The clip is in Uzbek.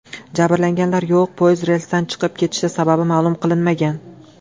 Jabrlanganlar yo‘q, poyezd relsdan chiqib ketishi sababi ma’lum qilinmagan.